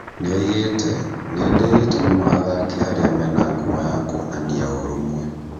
Nĩoigĩte "nĩndĩĩte mũno athaki arĩa mena ngumo ya kwonania ũũrũmwe